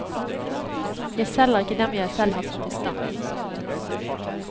Jeg selger ikke dem jeg selv har satt i stand.